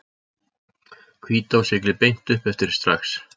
Hvítá siglir beint uppeftir strax.